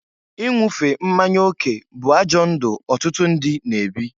Inwufe mmanya oke bụ ajọ ndụ ọtụtụ ndị na-ebi.